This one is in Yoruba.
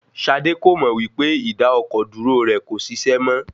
Ṣadé kò mọ wí pé ìdá-ọkọ̀-dúró rẹ kò ṣiṣẹ́ mọ.